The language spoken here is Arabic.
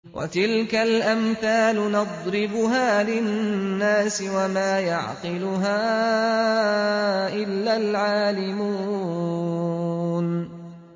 وَتِلْكَ الْأَمْثَالُ نَضْرِبُهَا لِلنَّاسِ ۖ وَمَا يَعْقِلُهَا إِلَّا الْعَالِمُونَ